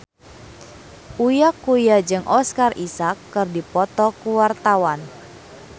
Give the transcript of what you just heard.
Uya Kuya jeung Oscar Isaac keur dipoto ku wartawan